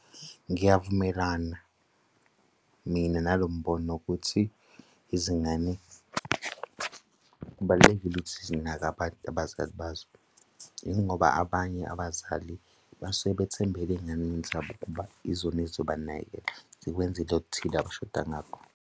Ngiyavumelana mina nalo mbono ukuthi izingane kubalulekile ukuthi zinake abazali bazo, yingoba abanye abazali basuke bathembele ey'nganeni zabo ukuba izona ezizobanakekela zibenzele oluthile abashoda ngakho.